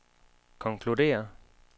konkluderer